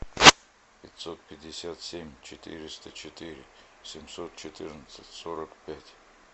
пятьсот пятьдесят семь четыреста четыре семьсот четырнадцать сорок пять